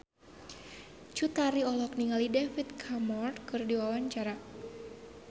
Cut Tari olohok ningali David Cameron keur diwawancara